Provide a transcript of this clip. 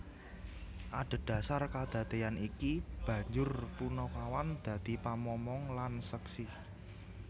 Adhedasar kadadeyan iki banjur panakawan dadi pamomong lan seksi